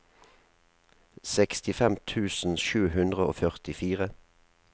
sekstifem tusen sju hundre og førtifire